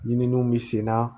Ɲininiw bi senna